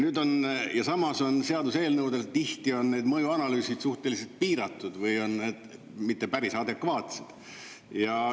Ja samas seaduseelnõudel tihti on need mõjuanalüüsid suhteliselt piiratud või on need mitte päris adekvaatsed.